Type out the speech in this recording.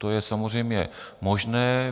To je samozřejmě možné.